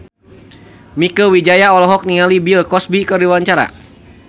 Mieke Wijaya olohok ningali Bill Cosby keur diwawancara